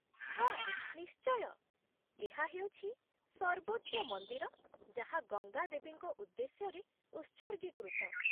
ହଁ ନିଶ୍ଚୟ। ଏହା ହେଉଛି ସର୍ବୋଚ୍ଚ ମନ୍ଦିର ଯାହା ଗଙ୍ଗା ଦେବୀଙ୍କ ଉଦ୍ଦେଶ୍ୟରେ ଉତ୍ସର୍ଗୀକୃତ।